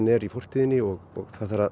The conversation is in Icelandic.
er í fortíðinni og það þarf að